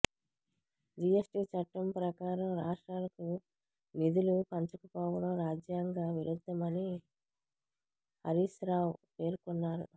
GST చట్టం ప్రకారం రాష్ట్రాలకు నిధులు పంచకపోవడం రాజ్యాంగ విరుద్ధమని హరీశ్రావు పేర్కొన్నారు